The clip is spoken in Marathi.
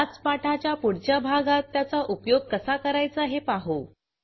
ह्याच पाठाच्या पुढच्या भागात त्याचा उपयोग कसा करायचा हे पाहू